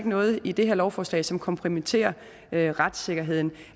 noget i det her lovforslag som kompromitterer retssikkerheden